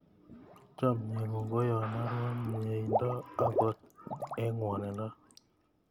Chomye ng'ung' ko yoni aro myeindo angot eng' ng'wonindo